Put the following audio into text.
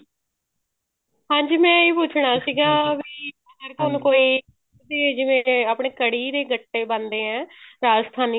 ਹਾਂਜੀ ਮੈਂ ਇਹ ਪੁੱਛਣਾ ਸੀਗਾ ਵੀ ਨਾ ਸਾਨੂੰ ਕੋਈ ਆਪਣੇ ਜਿਵੇਂ ਕੜ੍ਹੀ ਦੇ ਗੱਟੇ ਬਣਦੇ ਆਂ ਰਾਜਸਥਾਨੀ